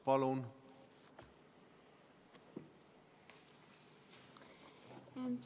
Palun!